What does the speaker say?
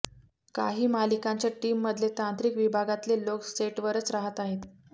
काही मालिकांच्या टीममधले तांत्रिक विभागातले लोक सेटवरच राहत आहेत